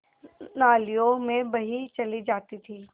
नालियों में बही चली जाती थी